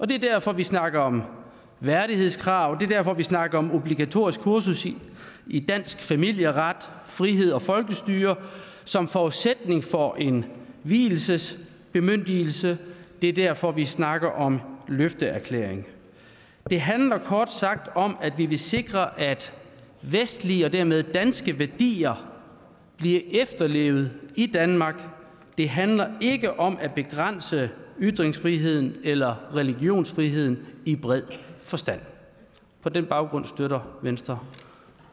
det er derfor vi snakker om værdighedskrav det er derfor vi snakker om obligatorisk kursus i dansk familieret frihed og folkestyre som forudsætning for en vielsesbemyndigelse det er derfor vi snakker om løfteerklæring det handler kort sagt om at vi vil sikre at vestlige og dermed danske værdier bliver efterlevet i danmark det handler ikke om at begrænse ytringsfriheden eller religionsfriheden i bred forstand på den baggrund støtter venstre